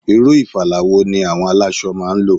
Irú ìfala wo ni àwọn aláṣọ máa ń lò?